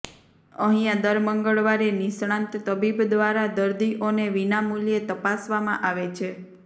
અહીંયા દર મંગળવારે નિષ્ણાંત તબીબ દ્વારા દર્દીઓને વિના મૂલ્યે તપાસવામાં આવે છે